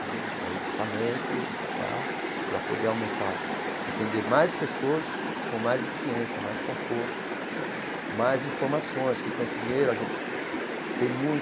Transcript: Entendeu é equipamento, equipar para poder aumentar o, atender mais pessoas com mais eficiência, mais conforto, mais informações, que com esse dinheiro a gente tem